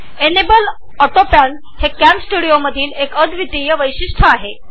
enable autopan हे कॅमस्टुडिओचे अद्वितीय वैशिष्टय आहे